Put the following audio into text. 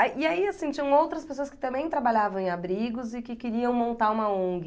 E aí, assim, tinham outras pessoas que também trabalhavam em abrigos e que queriam montar uma Ong.